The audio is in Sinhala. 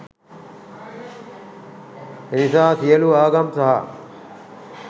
එනිසා සියලු ආගම් සහ